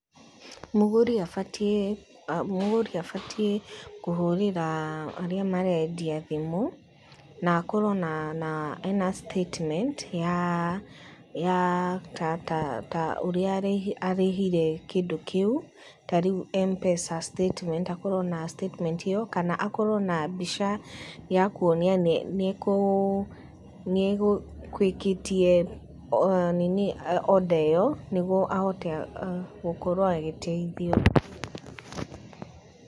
Mũgũri abatiĩ kũhũrĩra arĩa marendia thimũ, na akorwo na ena statement ya ta ũrĩa arĩhire kĩndũ kĩu, ta rĩu Mpesa statement, akorwo na statement ĩyo, kana akorwo na mbica ya kwonania nĩegũikĩtie order ĩyo nĩ guo ahite gũkorwo agĩteithio.